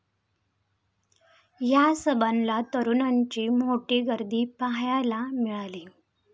या सभांना तरुणांची मोठी गर्दी पाहायला मिळाली.